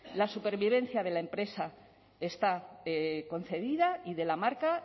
la supervivencia de la empresa está concedida y de la marca